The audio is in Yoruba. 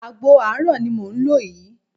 Àgbo àárọ̀ ni mò ń lò yìí